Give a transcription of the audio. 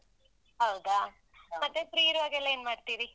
ಹೌದಾ ಮತ್ತೆ free ಇರುವಾಗೆಲ್ಲ ಏನ್ ಮಾಡ್ತೀರಿ?